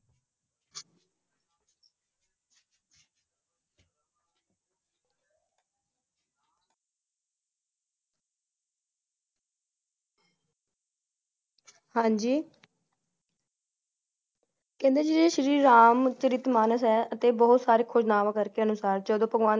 ਹਾਂਜੀ ਕਹਿੰਦੇ ਜੇ ਸ਼੍ਰੀ ਰਾਮ ਚਾਰਿਤਮਨਾਸ ਹੈ ਅਤੇ ਬਹੁਤ ਸਾਰੇ ਖੋਜ ਨਾਵਾਂ ਕਰਕੇ ਅਨੁਸਾਰ ਜਦੋ ਭਗਵਾਨ